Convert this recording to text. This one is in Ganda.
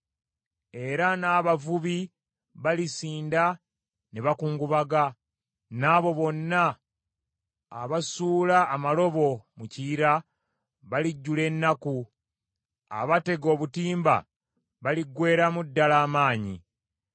Era n’abavubi balisinda ne bakungubaga, n’abo bonna abasuula amalobo mu Kiyira balijjula ennaku, abatega obutimba baliggweeramu ddala amaanyi.